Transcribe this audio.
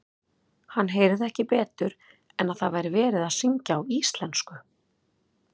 Hann heyrði ekki betur en að það væri verið að syngja á íslensku.